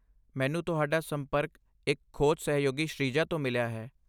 ਮੈਨੂੰ ਤੁਹਾਡਾ ਸੰਪਰਕ ਇੱਕ ਖੋਜ ਸਹਿਯੋਗੀ ਸ਼੍ਰੀਜਾ ਤੋਂ ਮਿਲਿਆ ਹੈ।